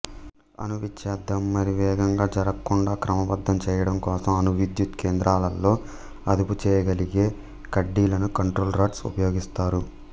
అణు విచ్ఛేదం మరీ వేగంగా జరగకుండా క్రమబద్ధం చేయడంకోసం అణు విద్యుత్ కేంద్రాలలో అదుపుచేయగలిగే కడ్డీలను కంట్రోల్ రాడ్స్ ఉపయోగిస్తారు